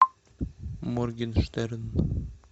моргенштерн